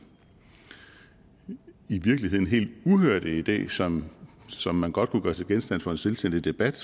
i virkeligheden helt uhørte idé som som man godt kunne gøre til genstand for en selvstændig debat